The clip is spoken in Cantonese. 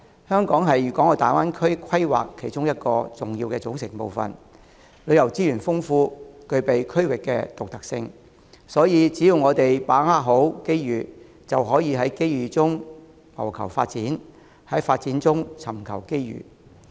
在粵港澳大灣區的規劃當中，香港是其中一個重要組成部分，旅遊資源豐富，具備區域的獨特性，所以只要我們好好把握機遇，就可以在機遇中謀求發展，在發展中尋求機遇。